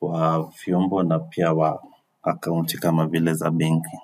wa vyombo na pia wa akaunti kama vile za benki.